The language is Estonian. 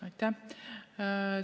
Aitäh!